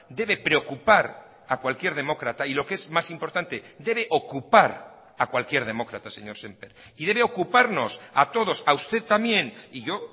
debe preocupar a cualquier demócrata y lo que es más importante debe ocupar a cualquier demócrata señor sémper y debe ocuparnos a todos a usted también y yo